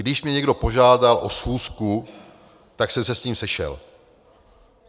Když mě někdo požádal o schůzku, tak jsem se s ním sešel.